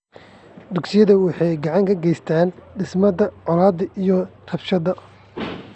Dugsiyada waxay gacan ka geystaan ??dhimista colaadaha iyo rabshadaha.